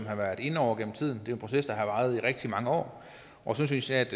har været inde over gennem tiden det en proces der har varet i rigtig mange år og jeg synes at